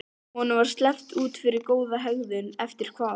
Honum var sleppt út fyrir góða hegðun eftir hvað?